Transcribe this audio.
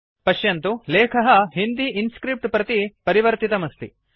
पश्यन्तु लेखः हिन्दी इन्स्क्रिप्ट प्रति परिवर्तितमस्ति